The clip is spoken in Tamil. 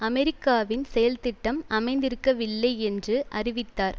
அமெரிக்காவின் செயல் திட்டம் அமைந்திருக்கவில்லை என்று அறிவித்தார்